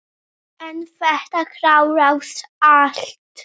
En þetta klárast allt.